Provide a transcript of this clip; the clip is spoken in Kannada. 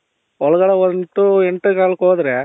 ಒಳಗಡೆ ಹೋಗ್ಬಿಟ್ಟು ಎಂಟು ಕಾಲ್ ಗೆ ಹೋದ್ರೆ